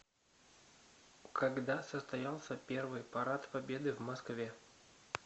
когда состоялся первый парад победы в москве